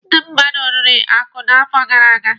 Ndị mmadụ riri akụ n'afọ gara aga.